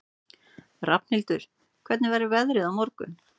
Rafnhildur, hvernig verður veðrið á morgun?